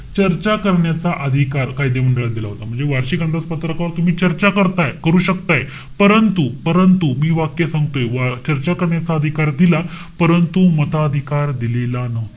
चर्चा करण्याचा अधिकार कायदे मंडळात दिला होता. म्हणजे वार्षिक अंदाज पत्रकावर तुम्ही चर्चा करताय. करू शकताय. परंतु, परंतु, मी वाक्य सांगतोय. वाच्यता करण्याचा अधिकार दिला. परंतु मताधिकार दिलेला नव्हता.